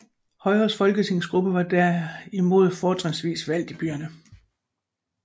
Højres folketingsgruppe var derimod fortrinsvis valgt i byerne